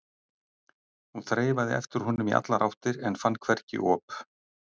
Hún þreifaði eftir honum í allar áttir en fann hvergi op.